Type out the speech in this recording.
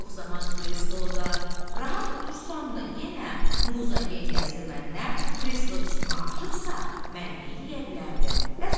Çox zaman krestloda rahat otursam da yenə Muza gəngəzdi məndən, kresto üstümə aşıbsa, mən neyləyə bilərdim?